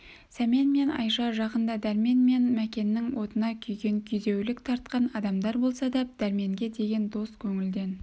сәмен мен айша жақында дәрмен мен мәкеннің отына күйген күйзеулік тартқан адамдар болса да дәрменге деген дос көңілден